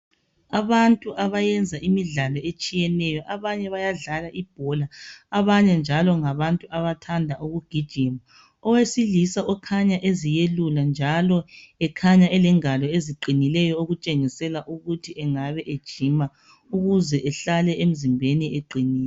Abantu abayenza imidlalo etshiyeneyo, abanye beyadlala ibhola, abanye njalo ngabantu abathanda ukugijima . Owesilisa okhanya eziyelula njalo ekhanya elengalo eziqinileyo okutshengisela ukuthi engabe ejima ukuze ehlale emzimbeni eqinile.